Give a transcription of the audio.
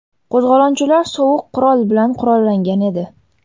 Qo‘zg‘olonchilar sovuq qurol bilan qurollangan edi.